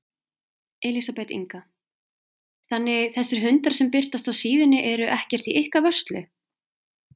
Elísabet Inga: Þannig þessir hundar sem birtast á síðunni eru ekkert í ykkar vörslu?